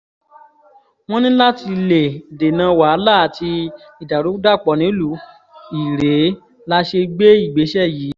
wọ́n ní láti lè dènà wàhálà àti ìdàrúdàpọ̀ nílùú irèé la ṣe gbé ìgbésẹ̀ yìí